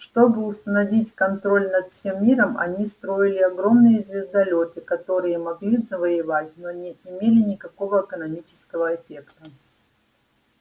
чтобы установить контроль над всем миром они строили огромные звездолёты которые могли завоёвывать но не имели никакого экономического эффекта